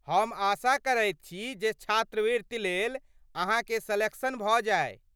हम आशा करैत छी जे छात्रवृति लेल अहाँके सेलेक्शन भऽ जाय।